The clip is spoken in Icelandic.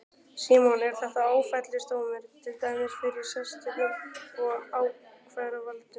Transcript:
Símon: Er þetta áfellisdómur, til dæmis yfir sérstökum og ákæruvaldinu?